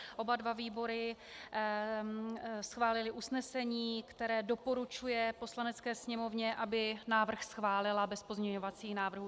Oba dva výbory schválily usnesení, které doporučuje Poslanecké sněmovně, aby návrh schválila bez pozměňovacích návrhů.